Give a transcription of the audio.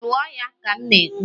lụọ ya ka m na-ekwu!